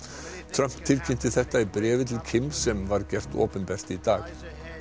Trump tilkynnti þetta í bréfi til Kims sem var gert opinbert í dag